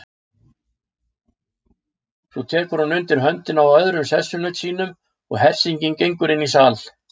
Svo tekur hún undir höndina á öðrum sessunaut sínum og hersingin gengur inn í sal.